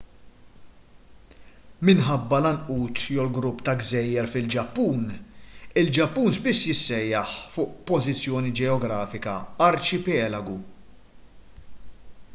minħabba l-għanqud/grupp ta’ gżejjer fil-ġappun il-ġappun spiss jissejjaħ fuq pożizzjoni ġeografika arċipelagu.